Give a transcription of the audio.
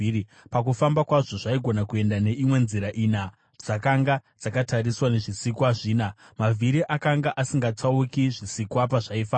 Pakufamba kwazvo, zvaigona kuenda neimwe yenzira ina dzakanga dzakatariswa nezvisikwa zvina; mavhiri akanga asingatsauki zvisikwa pazvaifamba.